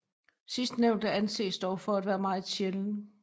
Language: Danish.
Sidstnævnte anses dog for at være meget sjælden